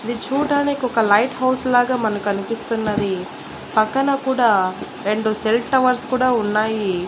ఇది చూడ్డానికి ఒక లైట్ హౌస్ లాగా మనకి అనిపిస్తున్నది. పక్కన కూడా రెండు సెల్ టవర్స్ కూడా ఉన్నాయి.